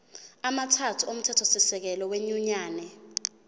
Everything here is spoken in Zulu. amathathu omthethosisekelo wenyunyane